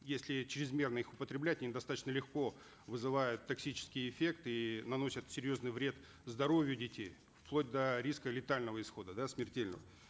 если чрезмерно их употреблять они достаточно легко вызывают токсический эффект и наносят серьезный вред здоровью детей вплоть до риска летального исхода да смертельного